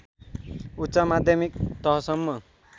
उच्च माध्यमिक तहसम्म